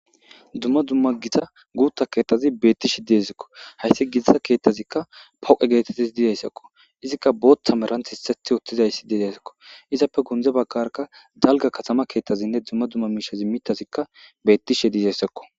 Dumma dumma gita guutta keettazi beettishe diezikko hayssi gitisa keettazikka poqe geetettes diidayssakko izikka booththa merant hisseth otthizayssi diidaysakko izappe gundze baggarka dalga katama keeththazinne dumma dumma miishazi mittazikka bettishe diizayssakko.